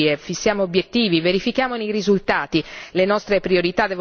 Elaboriamo strategie, fissiamo obiettivi, verifichiamo i risultati.